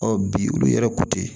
Ɔ bi olu yɛrɛ ko te